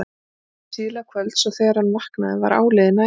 Hann sofnaði síðla kvölds og þegar hann vaknaði var áliðið nætur.